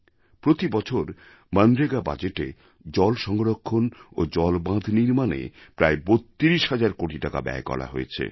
প্রতি বছর মনরেগা বাজেটে জলসংরক্ষণ ও জল বাঁধ নির্মাণে প্রায় ৩২ হাজার কোটি টাকা ব্যয় করা হয়েছে